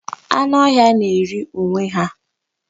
Anụ ọhịa na-eri onwe ha.